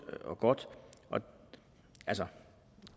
og godt altså